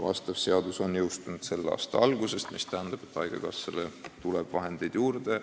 See seadus jõustus selle aasta alguses, mis tähendab, et haigekassale tuleb vahendeid juurde.